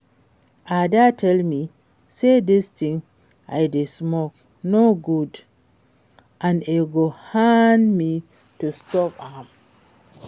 Ada tell me say dis thing I dey smoke no good and e go hard me to stop am